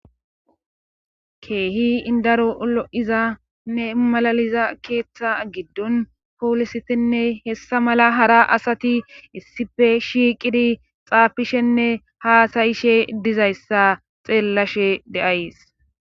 Keehi indaro lo7izanne malaliza keeththa giddon poolisitinne hessa mala hara asati issife shiiqidi xaafishenne haasayishe dizayssa xeellashe de7ays.